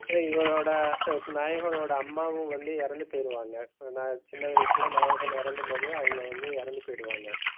அப்போ இவனோட நாயகனோட அம்மாவும் வந்து இறந்து போயிருவாங்க. ஏன்னா, சின்ன வயசுல நாயகன் இறக்கும்போதே அவங்க வந்து இறந்து போய்டுவாங்க.